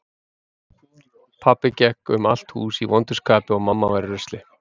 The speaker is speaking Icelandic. Pabbi gekk um allt hús í vondu skapi og mamma var í rusli.